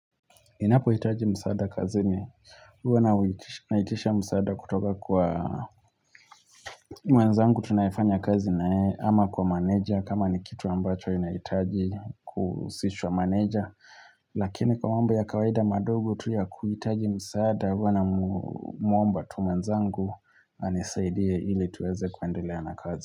Ninapohitaji msaada kazini huwa naitisha msaada kutoka kwa mwenzangu tunayefanya kazi naye ama kwa meneja kama ni kitu ambacho inahitaji kuhusishwa meneja Lakini kwa mambo ya kawaida madogo tu ya kuhitaji msaada huwa namwomba tu mwenzangu anisaidie ili tuweze kuendelea na kazi.